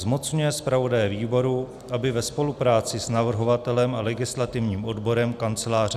Zmocňuje zpravodaje výboru, aby ve spolupráci s navrhovatelem a legislativním odborem Kanceláře